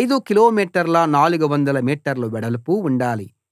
5 కిలోమీటర్ల 400 మీటర్ల వెడల్పు ఉండాలి